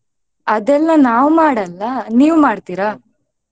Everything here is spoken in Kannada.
ಅದೆಲ್ಲ ನಾವ್ ಮಾಡಲ್ಲ ನೀವ್ ಮಾಡ್ತಿರಾ?